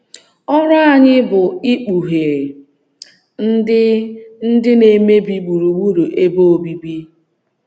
Ọrụ anyị bụ ikpughe ndị ndị na - emebi gburugburu ebe obibi.